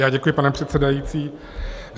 Já děkuji, pane předsedající.